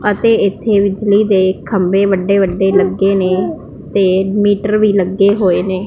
ਅਤੇ ਇੱਥੇ ਵਿਚਲੀ ਦੇ ਖੰਬੇ ਵੱਡੇ ਵੱਡੇ ਲੱਗੇ ਨੇ ਤੇ ਮੀਟਰ ਵੀ ਲੱਗੇ ਹੋਏ ਨੇ।